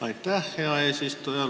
Aitäh, hea eesistuja!